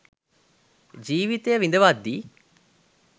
ජීවිතය විඳවද්දී